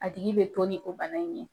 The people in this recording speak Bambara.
A tigi bɛ to ni o bana in ye.